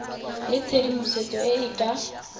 le tshedimosetso e e ka